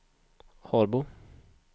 Harbo